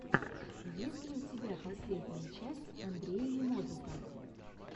есть ли у тебя последняя часть андрея немодрука